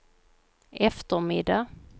eftermiddag